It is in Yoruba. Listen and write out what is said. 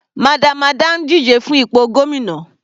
Madam Ada ń díje fún ipò gómìnà.